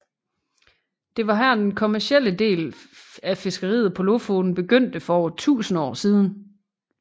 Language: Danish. Det var her den kommercielle del fiskeriet på Lofoten begyndte for over 1000 år siden